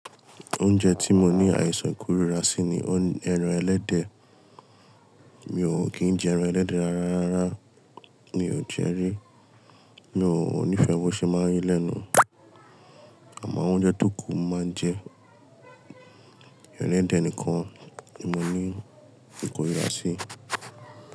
Oúnjẹ tí mo ní àìsàn kórira sí ni ẹran ẹlẹ́dẹ̀. Mi ò kì í jẹ ẹran ẹlẹ́dẹ̀ rárá rara, mi ò jẹ ríi, mi ò nífẹ̀ẹ́ bó ṣe máa ń ri lẹ́nu. Àmọ́ oúnjẹ tó kù mo máa ń jẹ, ẹran ẹlẹ́dẹ̀ nìkan tí mo ní ìkórìíra sí.